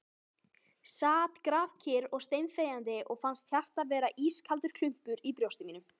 Sat grafkyrr og steinþegjandi og fannst hjartað vera ískaldur klumpur í brjósti mínu ...